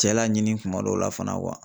Cɛla ɲini kuma dɔw la fana